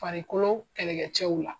Farikolo kɛlɛcɛw la.